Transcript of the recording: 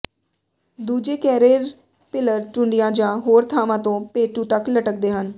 ਦੂਜੇ ਕੈਰੇਰਪਿਲਰ ਟੁੰਡਿਆਂ ਜਾਂ ਹੋਰ ਥਾਂਵਾਂ ਤੋਂ ਪੇਟੂ ਤੱਕ ਲਟਕਦੇ ਹਨ